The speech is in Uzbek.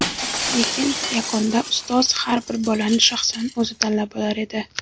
lekin yakunda ustoz har bir bolani shaxsan o‘zi tanlab olar edi.